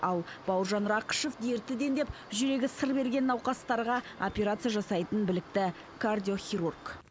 ал бауыржан рақышев дерті дендеп жүрегі сыр берген науқастарға операция жасайтын білікті кардиохирург